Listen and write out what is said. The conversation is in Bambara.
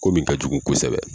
Ko min ka jugun kosɛbɛ.